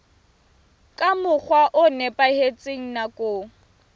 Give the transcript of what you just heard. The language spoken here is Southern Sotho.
ka mokgwa o nepahetseng nakong